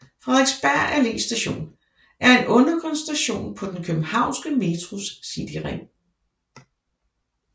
Frederiksberg Allé Station er en undergrundsstation på den københavnske Metros cityring